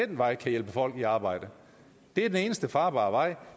den vej kan hjælpe folk i arbejde det er den eneste farbare vej